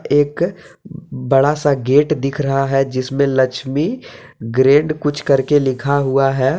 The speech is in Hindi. एक बड़ा सा गेट दिख रहा है जिसमें लक्ष्मी ग्रेंड कुछ करके लिखा हुआ है।